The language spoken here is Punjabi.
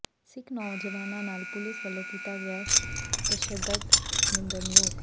ਸਿੱਖ ਨੌਜਵਾਨਾਂ ਨਾਲ ਪੁਲਿਸ ਵਲੋਂ ਕੀਤਾ ਗਿਆ ਤਸ਼ੱਦਦ ਨਿੰਦਣਯੋਗ